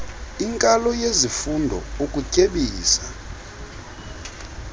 inkalo yesifundo ukutyebisa